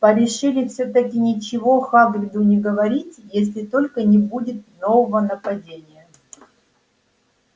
порешили всё-таки ничего хагриду не говорить если только не будет нового нападения